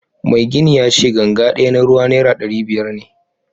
Mai gini yace ganga daya na ruwa naira dari biyar ne